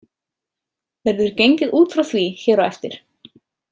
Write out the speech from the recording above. Verður gengið út frá því hér á eftir.